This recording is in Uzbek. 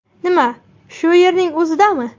Nima, shu yerning o‘zidami?